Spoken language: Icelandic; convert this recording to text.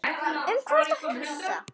Um hvað ertu að hugsa?